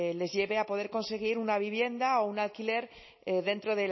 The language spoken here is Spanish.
les lleve a poder conseguir una vivienda o un alquiler dentro